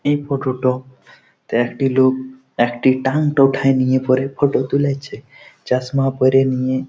এই ফটো -টো একটি লোক একটি ট্যাংট উঠায় নিয়ে পরে ফটো তুলেছে চশমা পরে নিয়ে ।